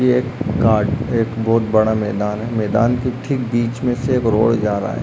ये एक गाड़ एक बोत बड़ा मैदान है मैदान के ठीक बीच में से एक रोड जा रहा है।